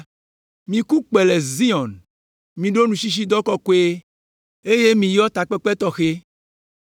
Miku kpẽ le Zion! Miɖo nutsitsidɔ kɔkɔe eye miyɔ takpekpe tɔxɛ.